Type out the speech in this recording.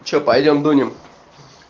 что пойдём дунем